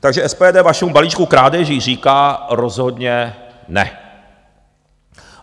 Takže SPD vašemu balíčku krádeží říká rozhodně ne!